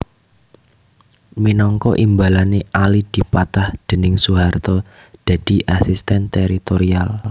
Minangka imbalané Ali dipatah déning Soeharto dadi Asisten Teritorial